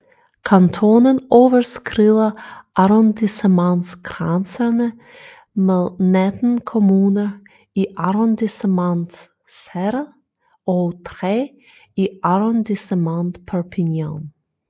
Kantonen overskrider arrondissementgrænserne med 19 kommuner i Arrondissement Céret og 3 i Arrondissement Perpignan